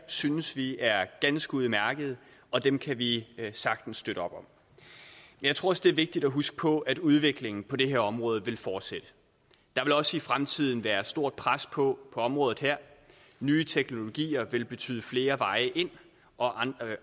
synes vi er ganske udmærkede og dem kan vi sagtens støtte op om jeg tror også det er vigtigt at huske på at udviklingen på det her område vil fortsætte der vil også i fremtiden være et stort pres på området her nye teknologier vil betyde flere veje ind og